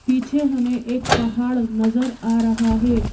पीछे हमें एक पहाड़ नजर आ रहा है।